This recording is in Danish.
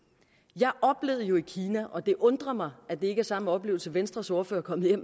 jeg oplevede jo i kina og det undrer mig at det ikke er samme oplevelse venstres ordfører er